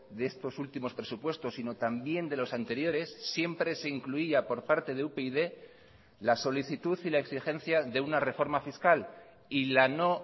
de estos últimos presupuestos sino también de los anteriores siempre se incluía por parte de upyd la solicitud y la exigencia de una reforma fiscal y la no